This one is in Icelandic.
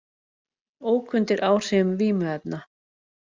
Ók undir áhrifum vímuefna